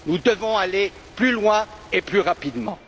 Nous devons aller plus loin et plus rapidement.